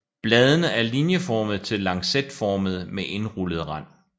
Bladene er linjeformede til lancetformede med indrullet rand